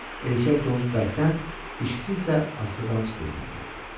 Erkək donuz bəkdən, dişisi isə astadan fısıldayırdı.